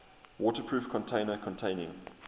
waterproof container containing